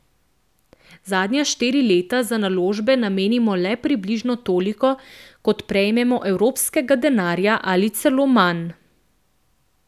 Zadnja štiri leta za naložbe namenimo le približno toliko, kot prejmemo evropskega denarja, ali celo manj.